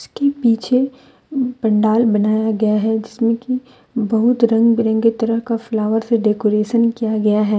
के पीछे पंडाल बनाया गया है जिसमें कि बहुत रंग बिरंगे तरह का फ्लावर से डेकोरेशन किया गया है।